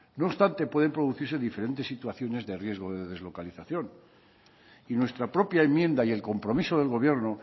no obstante puede producirse diferentes situaciones de riesgo de deslocalización y nuestra propia enmienda y el compromiso del gobierno